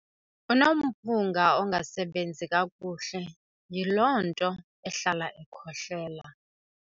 Unomphunga ongasebenzi kakuhle, yiloo nto ehlala ekhohlela.